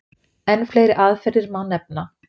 Enn fleiri aðferðir má nefna.